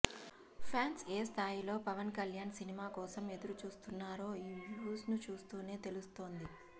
fans ఏ స్థాయిలో Pawan Kalyan cinema కోసం ఎదురు చూస్తున్నారో ఈ వ్యూస్ను చూస్తూనే తెలుస్తోంది